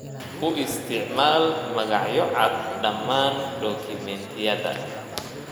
U isticmaal magacyo cad dhammaan dukumeentiyada.